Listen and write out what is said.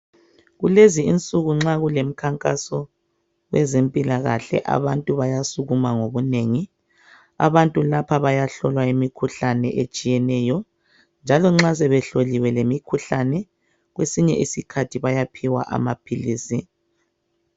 Kulezi insuku nxa kulemikhankaso yezempilakahle abantu bayasukuma ngobunengi. Abantu lapha bayahlolwa imikhuhlane etshiyeneyo njalo nxa sebehloliwe lemikhuhlane kwesinye isikhaythi bayaphiwa amaphilisi.